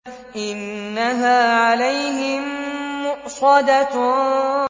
إِنَّهَا عَلَيْهِم مُّؤْصَدَةٌ